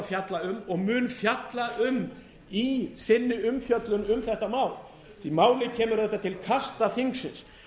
að fjalla um og mun fjalla um í sinni umfjöllun um þetta mál því málið kemur auðvitað til kasta þingsins